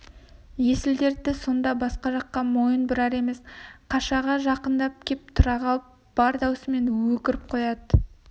есіл-дерті сонда басқа жаққа мойын бұрар емес қашаға жақындап кеп тұра қалып бар даусымен өкіріп қоя